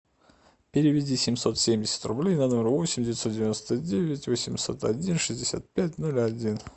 переведи семьсот семьдесят рублей на номер восемь девятьсот девяносто девять восемьсот один шестьдесят пять ноль один